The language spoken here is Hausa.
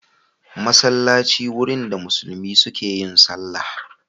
Masallaci wurin da musulmi suke yin sallah.